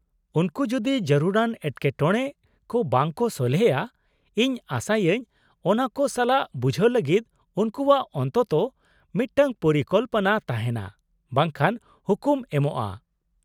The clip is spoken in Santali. -ᱩᱱᱠᱩ ᱡᱩᱫᱤ ᱡᱟᱹᱨᱩᱲᱟᱱ ᱮᱴᱠᱮᱴᱚᱬᱮ ᱠᱚ ᱵᱟᱝ ᱠᱚ ᱥᱚᱞᱦᱮᱭᱟ, ᱤᱧ ᱟᱥᱟ ᱭᱟᱹᱧ ᱚᱱᱟ ᱠᱚ ᱥᱟᱞᱟᱜ ᱵᱩᱡᱷᱟᱹᱣ ᱞᱟᱹᱜᱤᱫ ᱩᱱᱠᱩᱣᱟᱜ ᱚᱱᱛᱚᱛᱚ ᱢᱤᱫᱴᱟᱝ ᱯᱚᱨᱤᱠᱚᱞᱯᱚᱱᱟ ᱛᱟᱦᱮᱱᱟ, ᱵᱟᱝᱠᱷᱟᱱ ᱦᱩᱠᱩᱢ ᱮᱢᱼᱟ ᱾